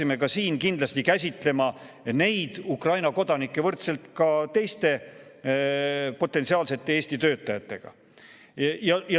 Me peaksime kindlasti kohtlema neid Ukraina kodanikke võrdselt teiste potentsiaalsete Eesti töötajatega.